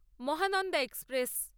Mahananda express